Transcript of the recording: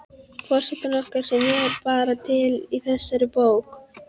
Forsetinn okkar sem er bara til í þessari bók